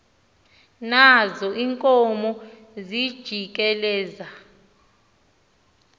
nazo iinkomo zijikeleza